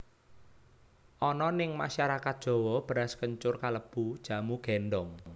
Ana ning masyarakat Jawa beras kencur kalebu jamu gèndhong